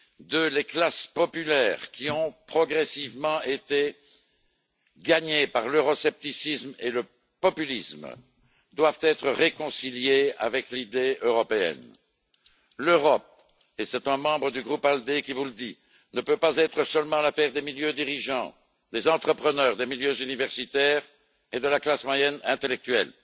Deuxièmement, les classes populaires qui ont progressivement été gagnées par l'euroscepticisme et le populisme doivent être réconciliées avec l'idée européenne. L'Europe et c'est un membre du groupe ALDE qui vous le dit ne peut pas être seulement l'affaire des milieux dirigeants, des entrepreneurs, des milieux universitaires et de la classe moyenne intellectuelle.